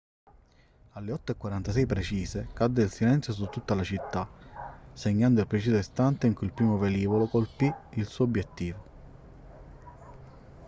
alle 8:46 precise cadde il silenzio su tutta la città segnando il preciso istante in cui il primo velivolo colpì il suo obiettivo